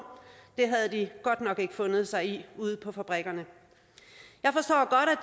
det havde de godt nok ikke fundet sig i ude på fabrikkerne